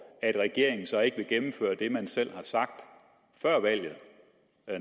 at regeringen så ikke vil gennemføre det man selv har sagt før valget